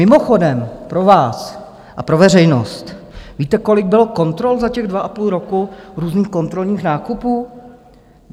Mimochodem, pro vás a pro veřejnost - víte kolik bylo kontrol za těch dva a půl roku, různých kontrolních nákupů?